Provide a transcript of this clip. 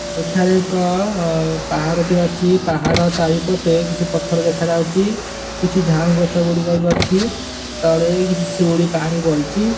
ଏଠାରେ ଏକ ଅ ପାହାଡ ଟିଏ ଅଛି ପାହାଡ ଚାରିପଟେ କିଛି ପଥର ଦେଖା ଯାଉଚି କିଛି ଝାଉଁଗଛ ଗୁଡିକ ବି ଅଛି ତଳେ କିଛି ଶିିଉଳି ପାଣି ପଡିଚି ।